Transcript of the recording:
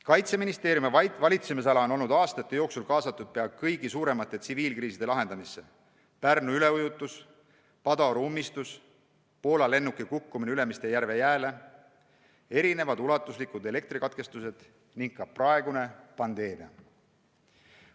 Kaitseministeeriumi valitsemisala on olnud aastate jooksul kaasatud pea kõigi suuremate tsiviilkriiside lahendamisse: Pärnu üleujutus, Padaoru ummistus, Poola lennuki kukkumine Ülemiste järve jääle, ulatuslikud elektrikatkestused ning ka praegune pandeemia.